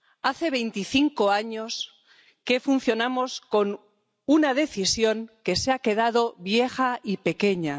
Hace veinticinco años que funcionamos con una Decisión que se ha quedado vieja y pequeña.